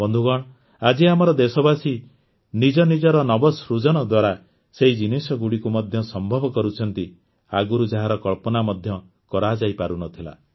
ବନ୍ଧୁଗଣ ଆଜି ଆମର ଦେଶବାସୀ ନିଜନିଜର ନବସୃଜନ ଦ୍ୱାରା ସେହି ଜିନିଷଗୁଡ଼ିକୁ ମଧ୍ୟ ସମ୍ଭବ କରୁଛନ୍ତି ଆଗରୁ ଯାହାର କଳ୍ପନା ମଧ୍ୟ କରାଯାଇପାରୁ ନଥିଲା